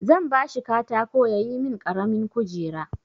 Zan ba shi katako ya yi min ƙaramin kujera.